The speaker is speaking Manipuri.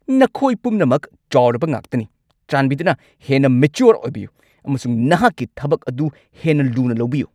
ꯅꯈꯣꯏ ꯄꯨꯝꯅꯃꯛ ꯆꯥꯎꯔꯕ ꯉꯥꯛꯇꯅꯤ! ꯆꯥꯟꯕꯤꯗꯨꯅ ꯍꯦꯟꯅ ꯃꯦꯆ꯭ꯌꯨꯔ ꯑꯣꯏꯕꯤꯌꯨ ꯑꯃꯁꯨꯡ ꯅꯍꯥꯛꯀꯤ ꯊꯕꯛ ꯑꯗꯨ ꯍꯦꯟꯅ ꯂꯨꯅ ꯂꯧꯕꯤꯌꯨ꯫